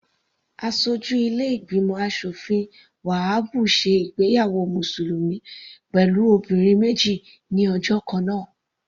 Aṣojú ilé ìgbìmọ̀ aṣòfin Wahabu ṣe ìgbéyàwó mùsùlùmí pẹ̀lú obìnrin méjì ní ọjọ́ kannáà.